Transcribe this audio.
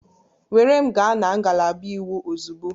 Were m gaa na ngalaba iwu ozugbo!